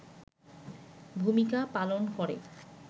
ভূমিকা পালন করে